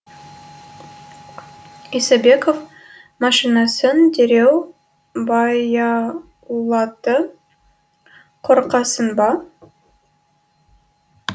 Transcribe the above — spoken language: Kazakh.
исабеков машинасын дереу баяулатты қорқасың ба